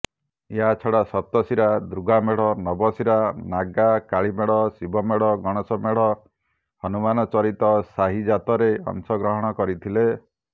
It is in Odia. ଏହାଛଡା ସପ୍ତଶିରା ଦୁର୍ଗାମେଢ଼ ନବଶିରା ନାଗା କାଳିମେଢ଼ ଶିବମେଢ଼ ଗଣେଶ ମେଢ ହନୁମାନ ଚରିତ୍ର ସାହିଯାତରେ ଅଂଶଗ୍ରହଣ କରିଥିଲେ